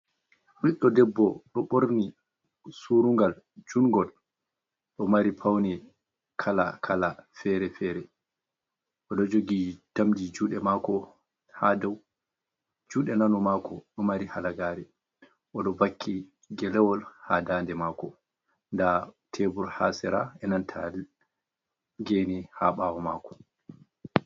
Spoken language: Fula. Ɓiɗɗo debbo ɗo ɓorni suurungal juungol, ɗo mari pawne kalaa-kalaa, fere-fere, o ɗo jogi, tamdi juuɗe maako haa dow juuɗe nano maako ɗo mari halagaare, o ɗo wakki gelewol haa daande maako. Ndaa teebur haa sera, e nanta geene haa ɓaawo maako.